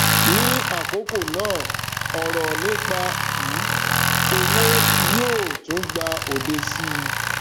ní àkókò náà ọrọ nípa um owó yóò tún gba òde síi